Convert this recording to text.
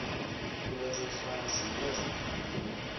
kule mihla zibe